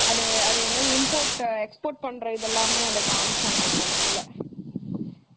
அது என்னது import , export பண்றது எல்லாமே காமிச்சாங்க அந்த இடத்துல.